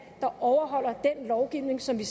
der overholder den lovgivning som vi